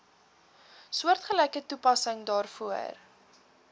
soortgelyke toepassing daarvoor